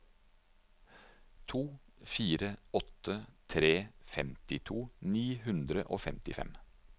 to fire åtte tre femtito ni hundre og femtifem